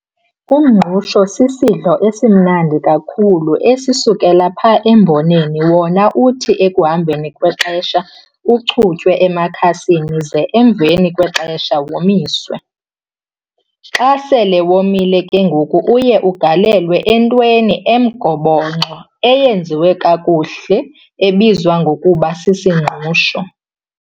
Umngqusho sisidlo esimnandi kakhulu esisukela pha emboneni wona uthi ekuhambeni kwexesha uchutywe emakhasini ze emveni kwexesha womiswe, xa sele womile ke ngoku uye ugalelwe entweni emgobongxo eyenziwe kakuhle ebizwa ukuba sisingqusho.